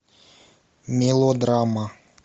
мелодрама